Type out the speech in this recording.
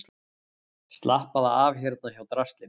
Slappaðu af hérna hjá draslinu.